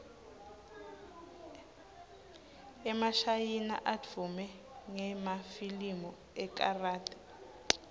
emashayina advume ngemafilimu ekarathi